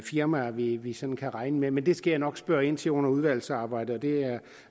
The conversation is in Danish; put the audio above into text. firmaer vi vi sådan kan regne med men det skal jeg nok spørge ind til under udvalgsarbejdet det er